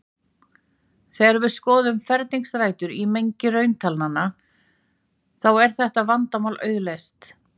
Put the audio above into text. Þegar við skoðum ferningsrætur í mengi rauntalnanna þá er þetta vandamál auðleyst.